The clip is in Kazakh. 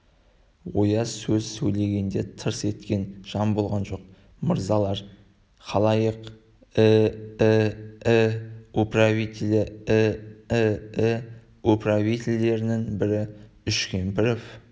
ояз сөз сөйлегенде тырс еткен жан болған жоқ мырзалар халайық э-э-э управителі э-э-э управительдерінің бірі үшкемпіров